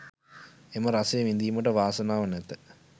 එම රසය විඳීමට වාසනාව නැත.